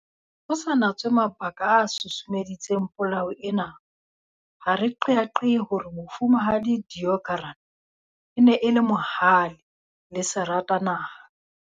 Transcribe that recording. Ho sa natswe mabaka a susumeditseng polao ena, ha re qeaqee hore Mofumahadi Deokaran e ne e le mohale le seratanaha.